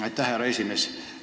Aitäh, härra esimees!